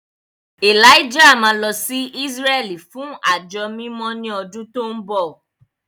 Elijah máa lọ sí Ísírẹ́lì fún àjọ mímọ́ ní ọdún tó ń bọ̀.